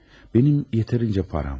Mənim yetərincə param var.